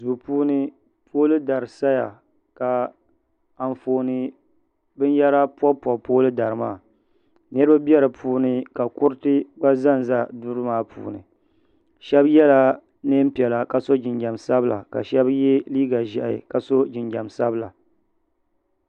Duu puuni pooli dari saya ka anfooni binyɛra pobi pobi pooli dari maa niraba bɛ do puuni ka kuriti gba ʒɛnʒɛ duri maa puuni shab yɛla neen piɛla ka so jinjɛm sabila ka shab yɛ liiga ʒiʋhi ka so jinjɛm sabila